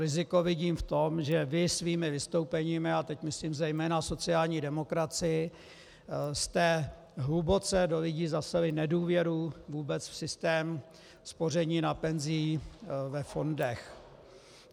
Riziko vidím v tom, že vy svými vystoupeními, a teď myslím zejména sociální demokracii, jste hluboce do lidí zaseli nedůvěru vůbec v systém spoření na penzi ve fondech.